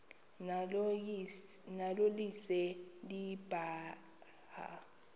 nalo lise libaha